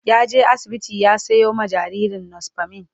ya je asibiti ya Sayo ma jinjirin nospamin